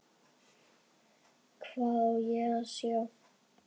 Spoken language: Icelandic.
Hvað á ég að sjá?